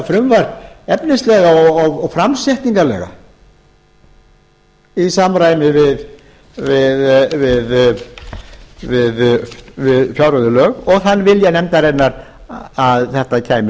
plagg þetta frumvarp efnislega og framsetningarlega í samræmi við fjárreiðulög og þann vilja nefndarinnar að þetta kæmi